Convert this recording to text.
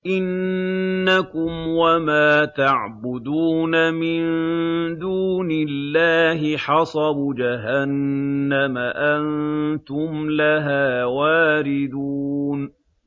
إِنَّكُمْ وَمَا تَعْبُدُونَ مِن دُونِ اللَّهِ حَصَبُ جَهَنَّمَ أَنتُمْ لَهَا وَارِدُونَ